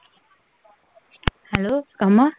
Hello, Kama?